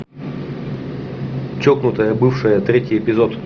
чокнутая бывшая третий эпизод